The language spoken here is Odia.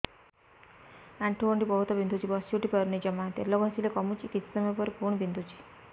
ଆଣ୍ଠୁଗଣ୍ଠି ବହୁତ ବିନ୍ଧୁଛି ବସିଉଠି ପାରୁନି ଜମା ତେଲ ଘଷିଲେ କମୁଛି କିଛି ସମୟ ପରେ ପୁଣି ବିନ୍ଧୁଛି